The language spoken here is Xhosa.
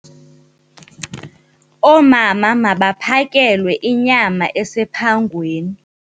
Oomama mabaphakelwe inyama esephangweni.